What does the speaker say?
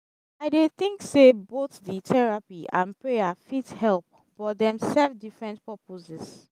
i dey think say both the therapy and prayer but dem send different purposes